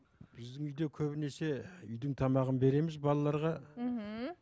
біздің үйде көбінесе үйдің тамағын береміз балаларға мхм